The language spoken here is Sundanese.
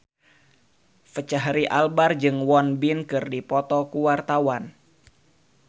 Fachri Albar jeung Won Bin keur dipoto ku wartawan